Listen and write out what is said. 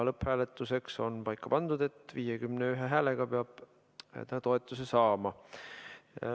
Lõpphääletuseks on paika pandud, et see eelnõu peab 51 häälega toetuse saama.